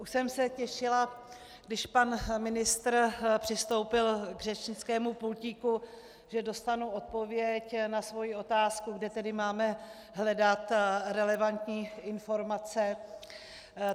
Už jsem se těšila, když pan ministr přistoupil k řečnickému pultíku, že dostanu odpověď na svou otázku, kde tedy máme hledat relevantní informace.